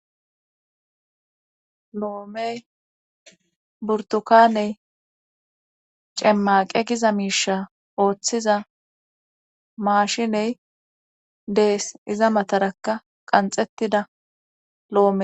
loomey burtukaney cemmaqe giza miisha ooththiza maashiney dees iza matarakka qanxettida loome